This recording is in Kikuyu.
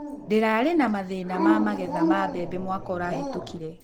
Ndĩrarĩ na mathĩna ma magetha ma mbembe mwaka ũrahetũkire.